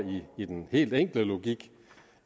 i den helt enkle logik